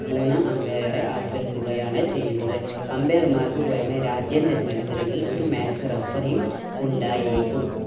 മൂന്നാം umpire എ ആശ്രയിക്കുകയാണ് ചെയ്യുന്നത് umpire മാർക്ക് പുറമെ രാജ്യാന്തര മത്സരങ്ങളിൽ ഒരു match referee യും ഉണ്ടായിരിക്കും.